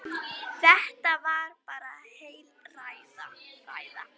Þetta var bara heil ræða.